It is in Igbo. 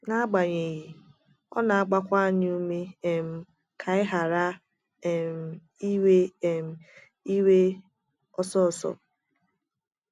n'agbanyeghi, ọ na - agbakwa anyị ume um ka anyị ghara ‘ um iwe um iwe ọsọ ọsọ. ’